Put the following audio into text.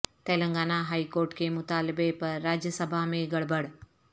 Telangana high court کے مطالبہ پر راجیہ سبھا میں گڑبڑ